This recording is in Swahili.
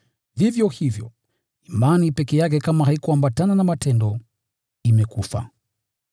Vivyo hivyo, imani peke yake kama haikuambatana na matendo, imekufa.